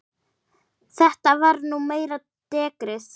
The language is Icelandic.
Það var nú meira dekrið.